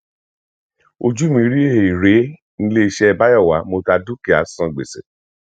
ojú u mi rí heere níléeṣẹ bayowa mo ta dúkìá san gbèsè